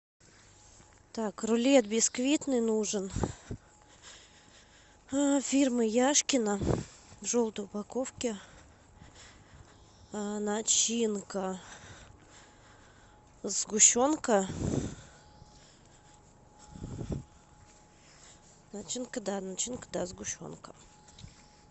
так рулет бисквитный нужен фирмы яшкино в желтой упаковке начинка сгущенка начинка да начинка да сгущенка